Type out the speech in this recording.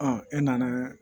e nana